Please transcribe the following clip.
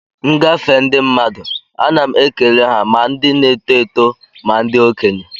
M gafee ndị mmadụ, ana m eke ha ma ndị n'eto eto ma ndị okenye.